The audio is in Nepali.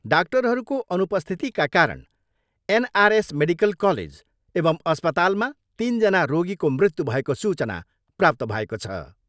डाक्टरहरूको अनुपस्थितिका कारण एनआरएस मेडिकल कालेज एवम् अस्पतालमा तिनजना रोगीको मृत्यु भएको सूचना प्राप्त भएको छ।